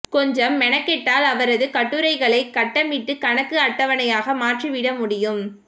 கொஞ்சம் மெனக்கெட்டால் அவரது கட்டுரைகளைக் கட்டமிட்டுக் கணக்கு அட்டவணையாக மாற்றிவிட முடியும்